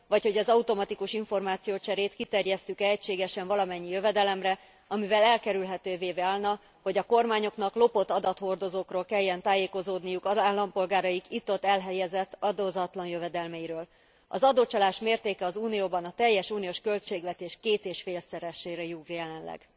Vagy hogy az automatikus információcserét kiterjesszük e egységesen valamennyi jövedelemre, amivel elkerülhetővé válna, hogy a kormányoknak lopott adathordozókról kelljen tájékozódniuk az állampolgáraik itt ott elhelyezett adózatlan jövedelmeiről. Az adócsalás mértéke az Unióban a teljes uniós költségvetés két és félszeresére rúg jelenleg.